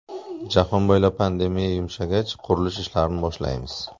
Jahon bo‘ylab pandemiya yumshagach, qurilish ishlarini boshlaymiz.